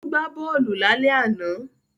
Ó gbá bọ́ọ̀lù lálẹ́ àná